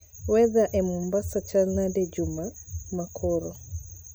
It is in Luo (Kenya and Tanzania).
Weather e Mombasa chal nade juma ma koro?